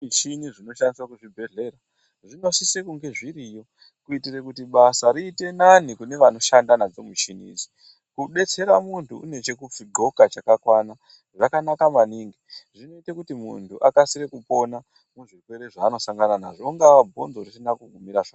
Mishini dzinoshandiswa kuzvibhedhleya dzinosisa kunge dzziriyo kuti basa riite nani kune canoshanda nadzo mishini dzacho kubetsera mundu uuwane kuzvigqoka kwakakwana zvakanaka maningi akasire kupona zvirwere zvaanosangana nazvo ungava bhonzo risina kumira zvakanaka.